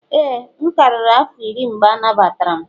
ee, m karịrị afọ iri mgbe anagbatara m.